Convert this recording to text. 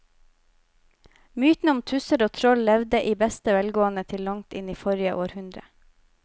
Mytene om tusser og troll levde i beste velgående til langt inn i forrige århundre.